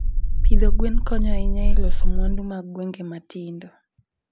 Pidho gwen konyo ahinya e loso mwandu mag gwenge matindo.